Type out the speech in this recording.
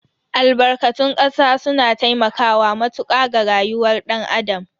Albarkatun kasa suna taimakawa matuka ga rayuwar dan Adam.